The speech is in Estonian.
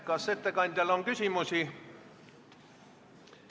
Kas ettekandjale on küsimusi?